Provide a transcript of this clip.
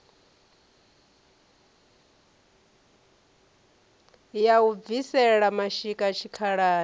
ya u bvisela mashika tshikhalani